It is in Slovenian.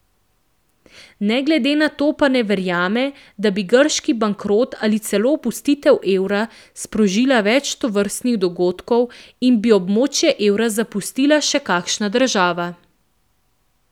Ne glede na to pa ne verjame, da bi grški bankrot ali celo opustitev evra sprožila več tovrstnih dogodkov in bi območje evra zapustila še kakšna država.